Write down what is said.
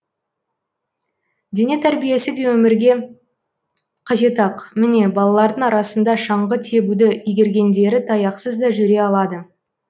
дене тәрбиесі де өмірге қажет ақ міне балалардың арасында шаңғы тебуді игергендері таяқсыз да жүре алады